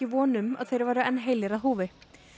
von um að þeir væru enn heilir að húfi